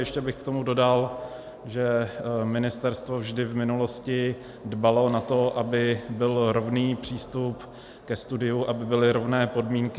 Ještě bych k tomu dodal, že ministerstvo vždy v minulosti dbalo na to, aby byl rovný přístup ke studiu, aby byly rovné podmínky.